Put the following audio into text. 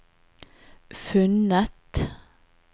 funnet